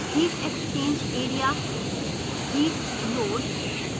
heat exchange area a